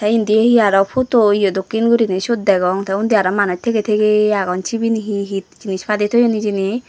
endi he aaro photo ye doke gurine siyot degong te unni aaro manus tege tege agon sebeni he he jenis pade toyon hejeni.